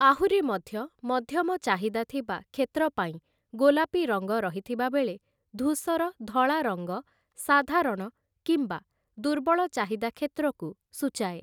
ଆହୁରି ମଧ୍ୟ, ମଧ୍ୟମ ଚାହିଦା ଥିବା କ୍ଷେତ୍ର ପାଇଁ ଗୋଲାପୀ ରଙ୍ଗ ରହିଥିବା ବେଳେ, ଧୂସର ଧଳା ରଙ୍ଗ ସାଧାରଣ କିମ୍ବା ଦୁର୍ବଳ ଚାହିଦା କ୍ଷେତ୍ରକୁ ସୂଚାଏ ।